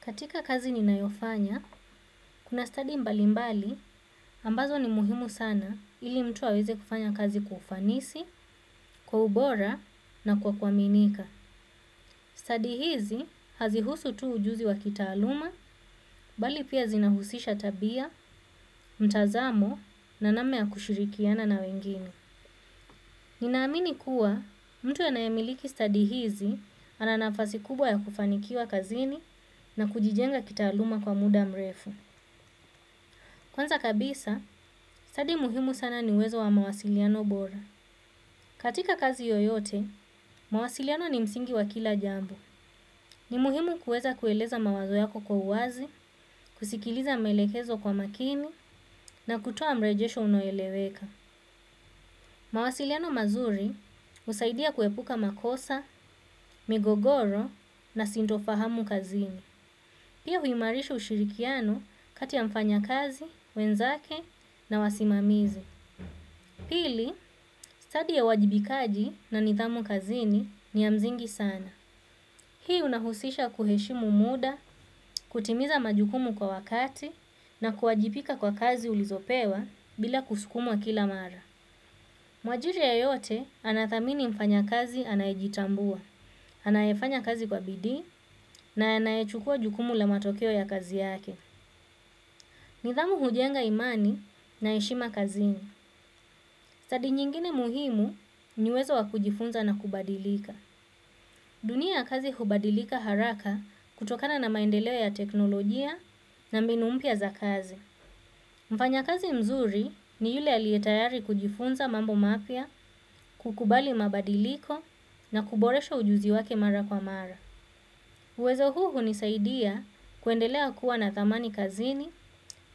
Katika kazi ninayofanya kuna stadi mbalimbali ambazo ni muhimu sana ili mtu aweze kufanya kazi kwa ufanisi kwa ubora na kwa kuaminika. Stadi hizi hazihusu tu ujuzi wa kitaaluma, bali pia zinahusisha tabia, mtazamo na namna ya kushirikiana na wengine. Ninaamini kuwa mtu anayemiliki stadi hizi ana nafasi kubwa ya kufanikiwa kazini na kujijenga kitaaluma kwa muda mrefu. Kwanza kabisa, stadi muhimu sana ni uwezo wa mawasiliano bora. Katika kazi yoyote, mawasiliano ni msingi wa kila jambo. Ni muhimu kuweza kueleza mawazo yako kwa uwazi, kusikiliza maelekezo kwa makini na kutoa mrejesho unaoeleweka. Mawasiliano mazuri husaidia kuepuka makosa migogoro na sintofahamu kazini. Pia huimarisha ushirikiano kati ya mfanyakazi, wenzake na wasimamizi. Pili, stadi ya uwajibikaji na nidhamu kazini ni ya mzingi sana. Hii unahusisha kuheshimu muda, kutimiza majukumu kwa wakati na kuwajipika kwa kazi ulizopewa bila kusukumwa kila mara. Mwajiri yeyote anathamini mfanyakazi anayejitambua, anayefanya kazi kwa bidi na anayechukua jukumu la matokeo ya kazi yake. Nidhamu hujenga imani na heshima kazini. Stadi nyingine muhimu ni uwezo wa kujifunza na kubadilika. Dunia ya kazi hubadilika haraka kutokana na maendeleo ya teknolojia na mbinu mpya za kazi. Mfanyakazi mzuri ni yule aliyetayari kujifunza mambo mapya, kukubali mabadiliko na kuboresha ujuzi wake mara kwa mara. Uwezo huu hunisaidia kuendelea kuwa na thamani kazini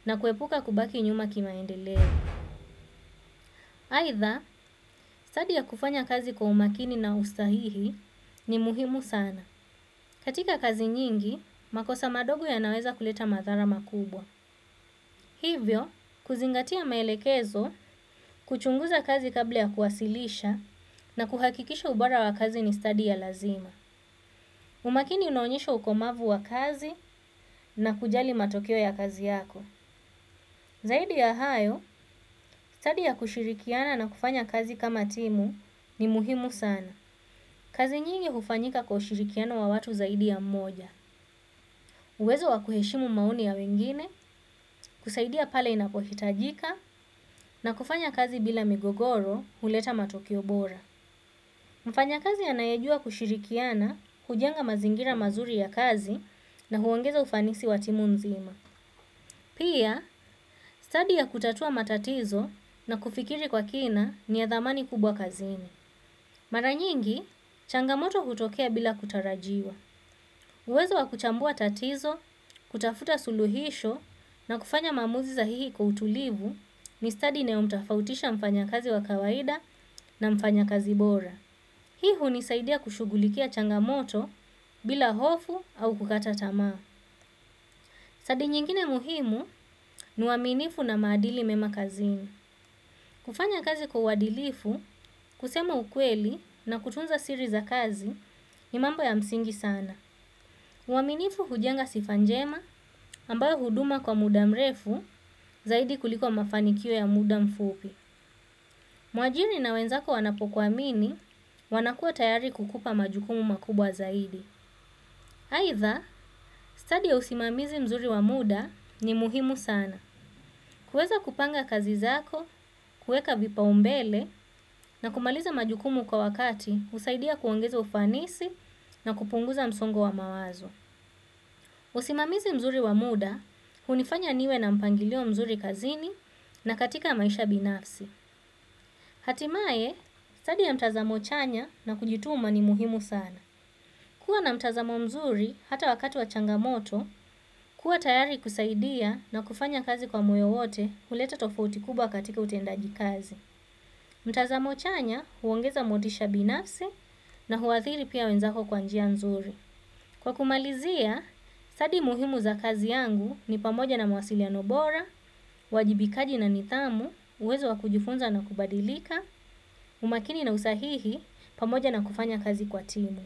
na kuepuka kubaki nyuma kimaendeleo. Aidha stadi ya kufanya kazi kwa umakini na usahihi ni muhimu sana katika kazi nyingi makosa madogo yanaweza kuleta madhara makubwa hivyo kuzingatia maelekezo kuchunguza kazi kabla ya kuwasilisha na kuhakikisha ubora wa kazi ni stadi ya lazima. Umakini inaonyesho ukomavu wa kazi na kujali matokeo ya kazi yako. Zaidi ya hayo, stadi ya kushirikiana na kufanya kazi kama timu ni muhimu sana. Kazi nyingi hufanyika kwa ushirikiano wa watu zaidi ya mmoja. Uwezo wa kuheshimu maoni ya wengine, kusaidia pale inapohitajika, na kufanya kazi bila migogoro huleta matokeo bora. Mfanyakzi anayejua kushirikiana huleta pia stadi ya kutatua matatizo na kufikiri kwa kina ni ya dhamani kubwa kazini. Mara nyingi, changamoto hutokea bila kutarajiwa. Uwezo wa kuchambua tatizo, kutafuta suluhisho na kufanya maamuzi zahihi kwa utulivu ni stadi inayomtafautisha mfanyakazi wa kawaida na mfanyakazi bora. Hii hunisaidia kushugulikia changamoto bila hofu au kukata tamaa. Stadi nyingine muhimu ni uaminifu na maadili mema kazini. Kufanya kazi kwa uadilifu, kusema ukweli na kutunza siri za kazi ni mambo ya msingi sana. Uaminifu hujenga sifa njema ambayo huduma kwa muda mrefu zaidi kuliko mafanikio ya muda mfupi. Mwajiri na wenzako wanapokuamini wanakua tayari kukupa majukumu makubwa zaidi. Aidha, stadi ya usimamizi mzuri wa muda ni muhimu sana. Kuweza kupanga kazi zako, kuweka vipaumbele na kumaliza majukumu kwa wakati husaidia kuongeza ufanisi na kupunguza msongo wa mawazo. Usimamizi mzuri wa muda, hunifanya niwe na mpangilio mzuri kazini na katika maisha binafsi. Hatimaye, stadi ya mtazamo chanya na kujituma ni muhimu sana kuwa na mtazamo mzuri hata wakati wa changamoto kuwa tayari kusaidia na kufanya kazi kwa moyo wote huleta tofauti kubwa katika utendajikazi. Mtazamo chanya huongeza motisha binafsi na huathiri pia wenzako kwa njia nzuri. Kwa kumalizia, stadi muhimu za kazi yangu ni pamoja na mawasiliano bora, uwajibikaji na nithamu, uwezo wa kujifunza na kubadilika, umakini na usahihi pamoja na kufanya kazi kwa timu.